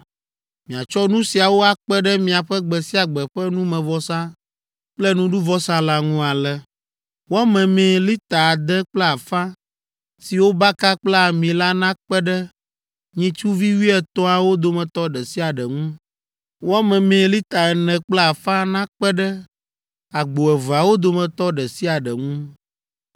Miatsɔ nu siawo akpe ɖe miaƒe gbe sia gbe ƒe numevɔsa kple nuɖuvɔsa la ŋu ale: wɔ memee lita ade kple afã, si wobaka kple ami la nakpe ɖe nyitsuvi wuietɔ̃awo dometɔ ɖe sia ɖe ŋu; wɔ memee lita ene kple afã nakpe ɖe agbo eveawo dometɔ ɖe sia ɖe ŋu,